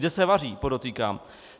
Kde se vaří, podotýkám.